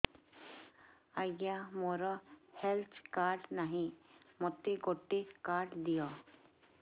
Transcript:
ଆଜ୍ଞା ମୋର health card ନାହିଁ ମୋତେ ଗୋଟେ କାର୍ଡ ଦିଅ